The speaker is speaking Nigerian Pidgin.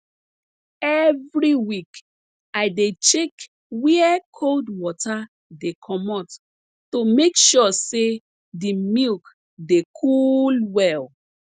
every week i dey check where cold water dey comot to make sure say de milk dey cool well